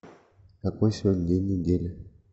какой сегодня день недели